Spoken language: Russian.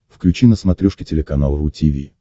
включи на смотрешке телеканал ру ти ви